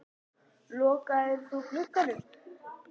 Lokaðir þú glugganum?